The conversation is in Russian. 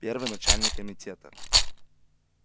первый начальник комитета